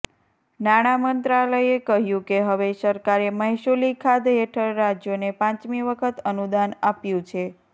નાણા મંત્રાલયે કહ્યું કે હવે સરકારે મહેસૂલી ખાધ હેઠળ રાજ્યોને પાંચમી વખત અનુદાન આપ્યું છે